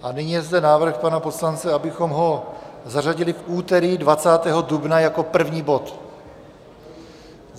A nyní je zde návrh pana poslance, abychom ho zařadili v úterý 20. dubna jako první bod.